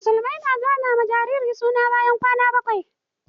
Musulmai na zana ma jariri suna ne bayan kwana bakwai.